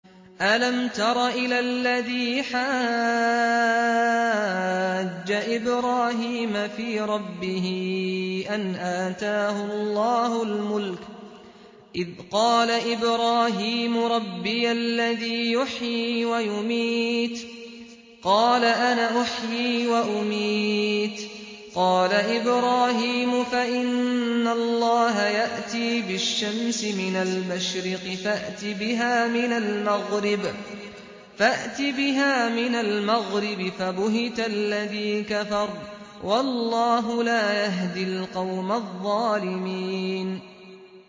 أَلَمْ تَرَ إِلَى الَّذِي حَاجَّ إِبْرَاهِيمَ فِي رَبِّهِ أَنْ آتَاهُ اللَّهُ الْمُلْكَ إِذْ قَالَ إِبْرَاهِيمُ رَبِّيَ الَّذِي يُحْيِي وَيُمِيتُ قَالَ أَنَا أُحْيِي وَأُمِيتُ ۖ قَالَ إِبْرَاهِيمُ فَإِنَّ اللَّهَ يَأْتِي بِالشَّمْسِ مِنَ الْمَشْرِقِ فَأْتِ بِهَا مِنَ الْمَغْرِبِ فَبُهِتَ الَّذِي كَفَرَ ۗ وَاللَّهُ لَا يَهْدِي الْقَوْمَ الظَّالِمِينَ